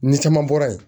Ni caman bɔra yen